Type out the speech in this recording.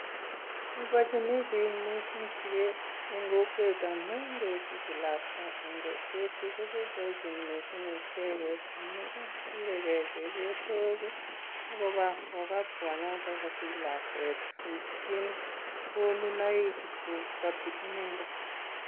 Boiboienchin biik mising siget en kokwet amun ngesich lakwa en kokwet ko boiboenchin icheget amun kure gee chepyosok ak kobaa kagat kwonyoto kosich lakwet koipchin konunoik kogati inendet.